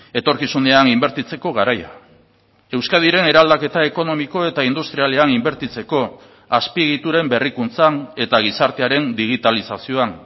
etorkizunean inbertitzeko garaia euskadiren eraldaketa ekonomiko eta industrialean inbertitzeko azpiegituren berrikuntzan eta gizartearen digitalizazioan